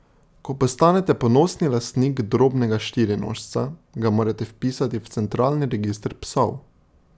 Ko postanete ponosni lastnik drobnega štirinožca, ga morate vpisati v centralni register psov.